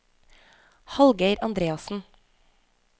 Hallgeir Andreassen